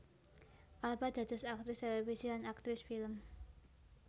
Alba dados aktris télévisi lan aktris film